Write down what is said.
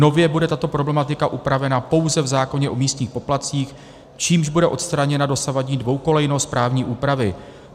Nově bude tato problematika upravena pouze v zákoně o místních poplatcích, čímž bude odstraněna dosavadní dvoukolejnost právní úpravy.